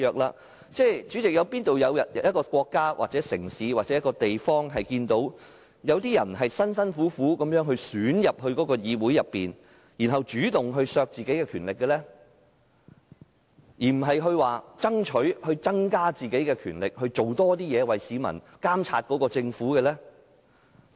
代理主席，試問哪個國家、城市或地方會有人辛辛苦苦透過選舉加入議會，然後主動削減自己的權力，而不是爭取增加自己的權力，為市民監察政府？